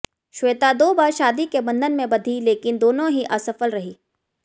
श्वेता दो बार शादी के बंधन में बंधी लेकिन दोनों ही असफल रहीं